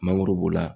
Mangoro b'o la